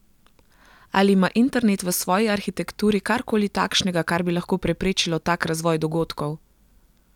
Ali ima internet v svoji arhitekturi kar koli takšnega, kar bi lahko preprečilo tak razvoj dogodkov?